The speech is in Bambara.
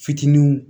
Fitininw